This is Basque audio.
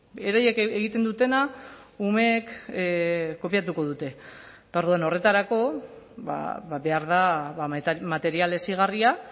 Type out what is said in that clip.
beraiek egiten dutena umeek kopiatuko dute eta orduan horretarako behar da material hezigarria